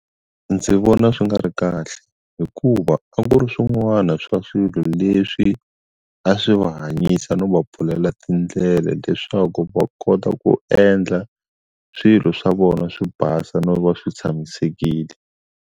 Ndzi vona swi nga ri kahle hikuva a ku ri swin'wana swa swilo leswi a swi va hanyisa no va pfulela tindlela leswaku va kota ku endla swilo swa vona swi basa no va swi tshamisekile.